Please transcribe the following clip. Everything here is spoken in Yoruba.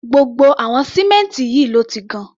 Gbogbo àwọn símẹ́ǹtì yìí ni wọ́n ti gan.